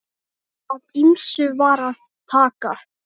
Af ýmsu var að taka.